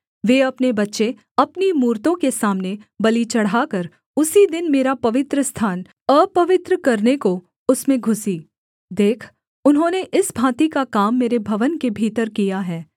वे अपने बच्चे अपनी मूरतों के सामने बलि चढ़ाकर उसी दिन मेरा पवित्रस्थान अपवित्र करने को उसमें घुसीं देख उन्होंने इस भाँति का काम मेरे भवन के भीतर किया है